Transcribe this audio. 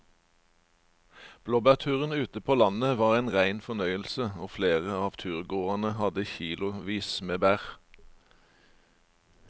Blåbærturen ute på landet var en rein fornøyelse og flere av turgåerene hadde kilosvis med bær.